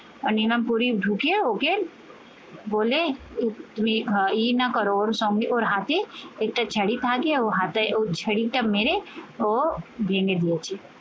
আর নিলাম পরী ঢুকে ওকে বলে তুমি ইয়ে না করো ওর সঙ্গে ওর হাতে মেরে ও ভেঙ্গে দিয়েছি